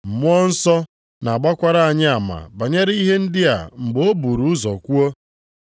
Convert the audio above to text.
Mmụọ nsọ na-agbakwara anyị ama banyere ihe ndị a mgbe o buru ụzọ kwuo: